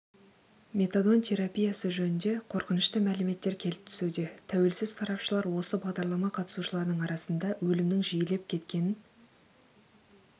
метадон терапиясы жөнінде қорқынышты мәліметтер келіп түсуде тәуелсіз сарапшылар осы бағдарлама қатысушыларының арасында өлімнің жиілеп кеткенін